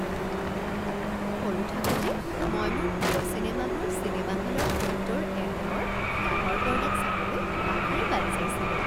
সৰু থাকোতে মই মোৰ প্ৰিয় চিনেমাবোৰ চিনেমা হলৰ সত্তৰ এমএম ৰ ডাঙৰ পৰ্দাত চাবলৈ আশাৰে বাট চাইছিলোঁ৷